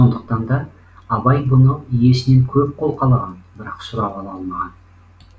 сондықтан да абай бұны иесінен көп қолқалаған бірақ сұрап ала алмаған